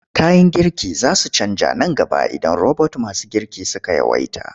Kayan girki za su canja nan gaba idan robot masu girki suka yawaita.